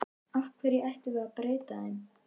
Af hverju ættum við að breyta þeim?